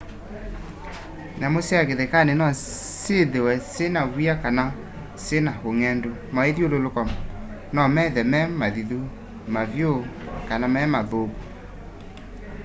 nyamũ sya kĩthekanĩ nosyĩthe syĩna w'ĩa kana syĩna ũngendu mawĩ'thyũlũlũko nomethe me mathĩthũ mavyũ kana memathũkũ